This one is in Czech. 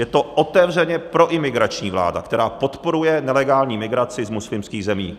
Je to otevřeně proimigrační vláda, která podporuje nelegální migraci z muslimských zemí.